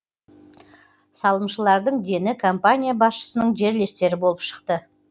салымшылардың дені компания басшысының жерлестері болып шықты